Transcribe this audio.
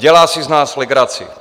Dělá si z nás legraci.